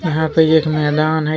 यहां पे एक मैदान है।